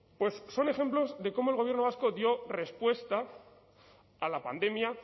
son ejemplos de cómo el gobierno vasco dio respuesta a la pandemia